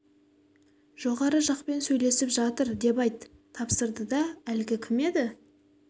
жоғары жақпен сөйлесіп жатыр деп айт деп тапсырды да әлгі кім еді